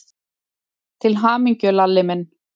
Til hamingju, Lalli minn.